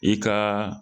I ka